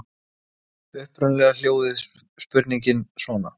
Upprunalega hljóðaði spurningin svona: